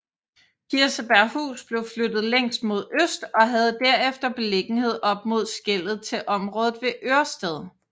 Kirsebærhus blev flyttet længst mod øst og havde derefter beliggenhed op mod skellet til området ved Ørsted